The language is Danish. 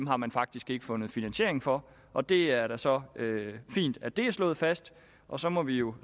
har man faktisk ikke fundet finansiering for og det er da så fint at det er slået fast og så må vi jo